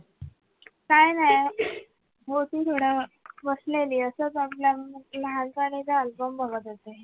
काय नाय होती थोड बसलेली असच आपल्या लहान पणीचा album बघत होती.